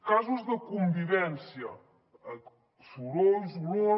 casos de convivència sorolls olors